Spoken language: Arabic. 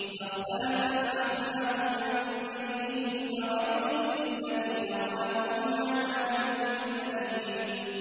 فَاخْتَلَفَ الْأَحْزَابُ مِن بَيْنِهِمْ ۖ فَوَيْلٌ لِّلَّذِينَ ظَلَمُوا مِنْ عَذَابِ يَوْمٍ أَلِيمٍ